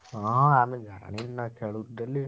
ହଁ ଆମେ ଜାଣିନୁ ନାଁ ଖେଳୁଛୁ daily ।